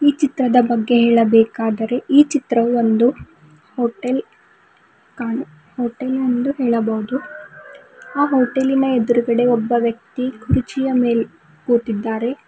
ಈ ಚಿತ್ರವನ್ನು ಬಗ್ಗೆ ಹೇಳಬೇಕಾದರೆ ಈ ಚಿತ್ರವು ಒಂದು ಹೋಟೆಲ್ ಕಾಣು ಹೋಟೆಲ್ ಎಂದು ಹೇಳಬಹುದು ಆ ಹೋಟೆಲಿನ ಎದುರುಗಡೆ ಒಬ್ಬ ವ್ಯಕ್ತಿ ಕುರ್ಚಿಯ ಮೇಲೆ ಕುಳಿತಿದ್ದಾರೆ.